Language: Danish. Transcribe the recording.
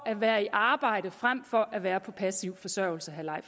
at være i arbejde frem for at være på passiv forsørgelse